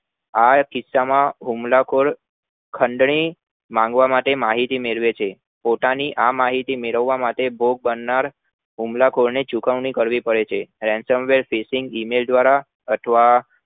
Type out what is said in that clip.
આ કિસ્સા માં હુમલા ખોર ખંડ ની માંગવા માટે માહિતી મેળવે છે પોતાની આ માહિતી મેળવવા માટે હુમલા ખોર ને ચુકવણી કરવી પડે છે email દ્વારા